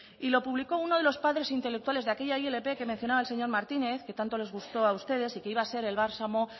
y lo publicó uno de los padres intelectuales de aquella ilp que mencionaba el señor martínez que tanto les gustó a ustedes y que iba a ser el bálsamo